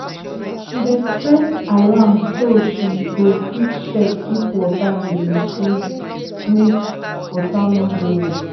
she dey set alarm so she go fit check if water dey leak leak make water no go waste.